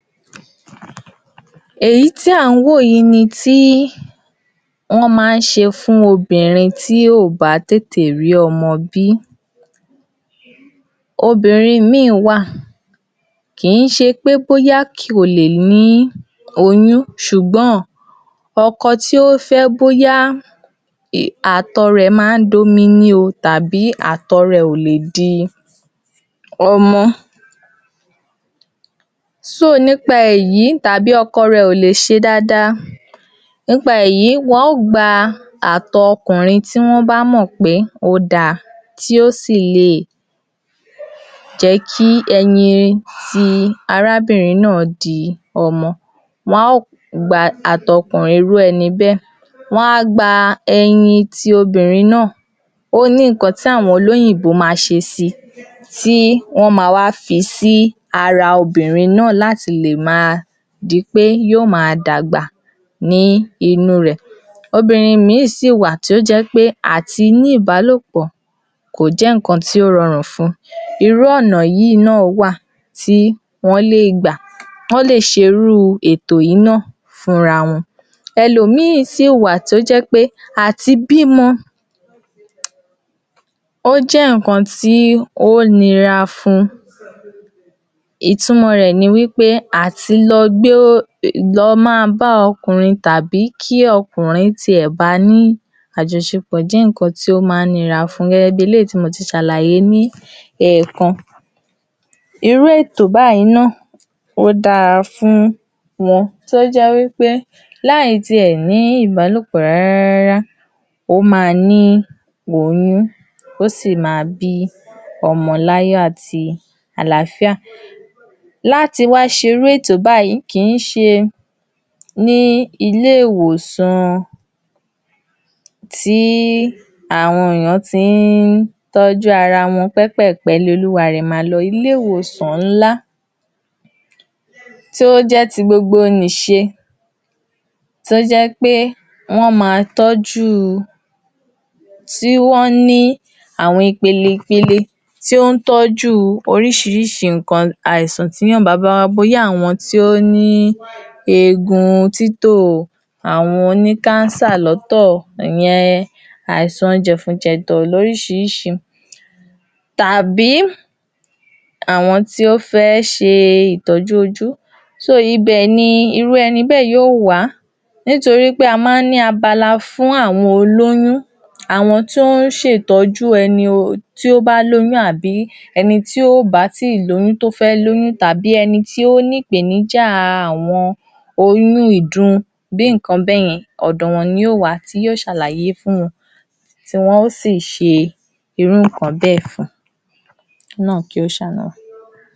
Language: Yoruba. Èyí ni tí a bá ń gba abé̩ré̩ àjesára, eléyìí l’àwo̩n yòrùbá ń pè ní abé̩ré̩ àjesára tí ó jé̩ wípé a tiè̩ ní orin tí a máa ń ko̩ si tí á máa kó̩ wípé “wá gba’bé̩re̩ àje̩sára wá gba’bé̩re̩ àje̩sára, ìwo̩ bá ni àisan lára kó tó di pé ó lé, wá gba’bé̩re̩ àje̩sára." Abé̩re̩ àje̩sára yí jé̩ abé̩ré̩ tí a máa ń fún àwo̩n èyàn nípa tí a bá ti gbó̩ pé ìpèníjà àwo̩n àìsàn kan wáà ní àwo̩n agbègbè kan. Pupo̩ nínú abé̩ré̩ àjesára ló jé pé o̩mo̩dé ló máa ń sábà wà fún. Nítorí pé, àti kékeré ni a ti máa ń pé̩ka ìrókò, tó ba di pé tó bá dágbà tán, yó máa gba ebo̩ ló̩wó̩ eni. Òwe yorùbá ló so̩ bé̩è̩ Ǹkan tí eléyìí túmò̩ sí ni wípé, àti kékeré wó̩n ti ń pa àwo̩n àìsàn wò̩nyí ní ara o̩mo̩dé. Kó má wàá di pé tó bá dágbà tán, yíó máa ní ipa ní ilé ayé wo̩n. Àpe̩re̩ abé̩ré̩ àje̩sára ni tí o̩mó̩ bá ń tí ó bá ń ri pé àìsàn-an ro̩mo̩ léegun wà ní agbègbè kan, woń máa kó abé̩ré̩ àje̩sára rè̩ jáde. Àwo̩n o̩mọ osù mélòó kan náà tí a bá s̩è̩ bí bí osù kan, osù méjì, odún kan si odún márùn-ún ó ni àwo̩n abé̩ré̩ àje̩sára tí wó̩n máa ń gbà ilé-ìwòsàn. Ìgbà tí àìsàn COVID-19 COVID-19